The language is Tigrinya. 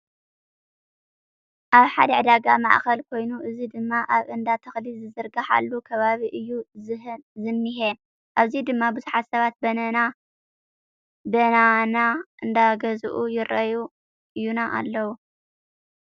ኣብ ሓደ ዕዳጋ ማእከል ኮይኑ እዚ ድማ ኣብ እንዳተክሊ ዝዝርጋሓሉ ከባቢ እዩ ዝኔሄ። ኣብዚ ድማ ቡዙሓት ሰባት በናና እንዳገዘኡ ይረአዩና ኣለዉ።